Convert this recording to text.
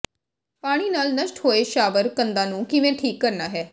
ਪਾਣੀ ਨਾਲ ਨਸ਼ਟ ਹੋਏ ਸ਼ਾਵਰ ਕੰਧਾਂ ਨੂੰ ਕਿਵੇਂ ਠੀਕ ਕਰਨਾ ਹੈ